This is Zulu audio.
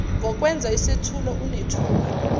ngokwenza isethulo unethuba